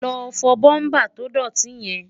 lọ fọ búmbà tó dọ̀tí yẹn!